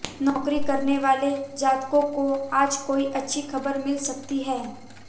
नौकरी करने वाले जातकों को आज कोई अच्छी खबर मिल सकती है